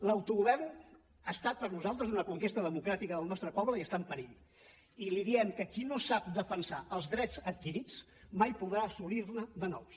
l’autogovern ha estat per nosaltres una conquesta democràtica del nostre poble i està en perill i li diem que qui no sap defensar els drets adquirits mai podrà assolir ne de nous